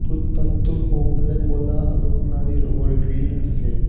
Foot path টোৰ সোঁফালে ক'লা আৰু সোণালী ৰঙৰ গ্ৰিল আছে।